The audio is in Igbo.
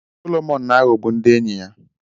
Solomọn na-aghọgbu ndị enyi ya.